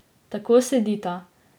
Tako sedita.